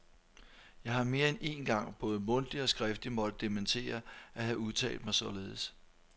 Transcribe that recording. Jeg har mere end én gang både mundtligt og skriftligt måtte dementere at have udtalt mig således.